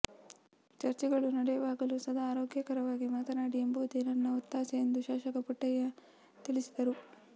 ಚರ್ಚೆಗಳು ನಡೆಯುವಾಗಲೂ ಸದಾ ಆರೋಗ್ಯಕರವಾಗಿ ಮಾತನಾಡಿ ಎಂಬುದೇ ನನ್ನ ಒತ್ತಾಸೆ ಎಂದು ಶಾಸಕ ಪುಟ್ಟಣ್ಣಯ್ಯ ತಿಳಿಸಿದರು